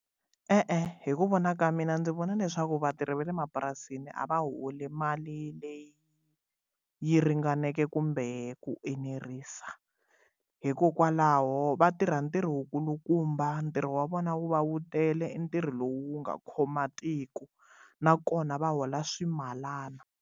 E-e hi ku vona ka mina ndzi vona leswaku vatirhi va le mapurasini a va holi mali leyi yi ringaneke kumbe ku enerisa hikokwalaho va tirha ntirho wu kulukumba ntirho wa vona wu va wu tele ntirho lowu wu nga khoma matiko nakona va hola swimalana.